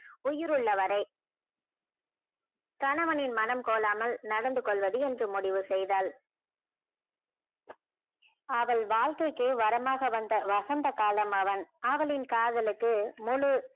உயிர்உள்ள வரை கணவனின் மனம் கோலாமல் நடந்து கொள்வது என்று முடிவு செய்தால் அவள் வாழ்கைக்கே வரமாக வந்த வசந்த காலம் அவன் அவளின் காதலுக்கு முழு